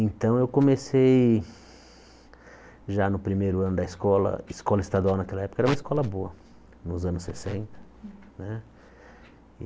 Então, eu comecei já no primeiro ano da escola, escola estadual naquela época, era uma escola boa, nos anos sessenta. Né